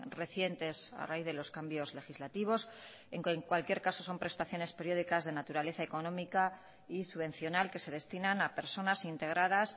recientes a raíz de los cambios legislativos en cualquier caso son prestaciones periódicas de naturaleza económica y subvencional que se destinan a personas integradas